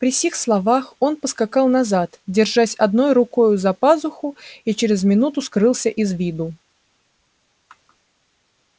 при сих словах он поскакал назад держась одной рукою за пазуху и через минуту скрылся из виду